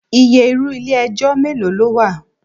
Iye irú ilé ẹjọ́ mélòó ló wà?